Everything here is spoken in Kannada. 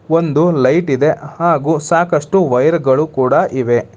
ಒಂದು ಲೈಟ್ ಇದೆ ಹಾಗು ಸಾಕಷ್ಟು ವಯರ್ ಗಳು ಕೂಡ ಇವೆ.